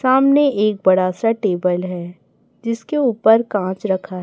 सामने एक बड़ा सा टेबल है जिसके ऊपर कांच रखा--